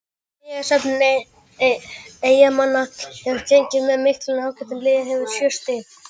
Stigasöfnun Eyjamanna hefur gengið með miklum ágætum og liðið hefur sjö stig.